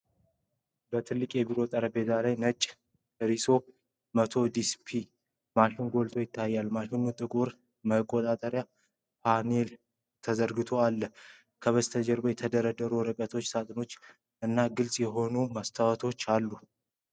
በትልቁ የቢሮ ጠረጴዛ ላይ ነጭ የRISO CZ 100 ዱፕሊኬተር ማሽን ጎልቶ ይታያል። ማሽኑ ጥቁር መቆጣጠሪያ ፓነልና አዝራሮች አሉት። ከበስተጀርባ የተደረደሩ ወረቀቶች፣ ሳጥኖች እና ግልጽ የሆኑ መስታወቶች ይገኛሉ።